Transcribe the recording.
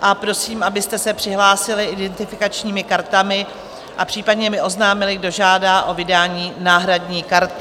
a prosím, abyste se přihlásili identifikačními kartami a případně mi oznámili, kdo žádá o vydání náhradní karty.